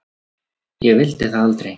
Ég vildi það aldrei.